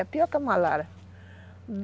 É pior que a malária.